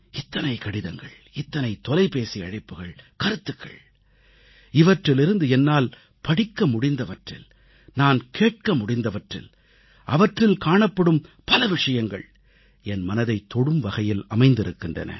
இத்தனை கடிதங்கள் இத்தனை தொலைபேசி அழைப்புக்கள் கருத்துக்கள் இவற்றிலிருந்து என்னால் படிக்க முடிந்தவற்றில் நான் கேட்க முடிந்தவற்றில் அவற்றில் காணப்படும் பல விஷயங்கள் என் மனதைத் தொடும் வகையில் அமைந்திருக்கின்றன